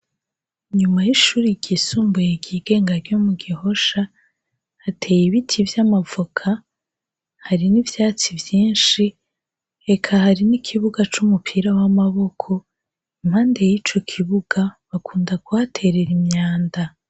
Inyuma y'ishure ryisumbuye ryigenga ryo mugihosha hateye ibiti vy'amavoka, har'ivyatsi vyinshi eka hari n'ikibuga c'umupira w'amaboko mpande yico kibuga bakunda kuhaterera imyanda.